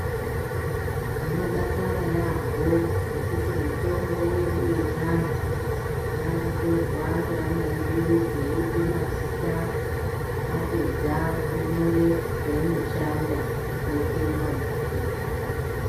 Tinodakara yaampho ngekuti mitombo yedu yechiantu yakutorwa ngeana edu eipe mazita apedza onyore zveinoshanda oise mumabhuku.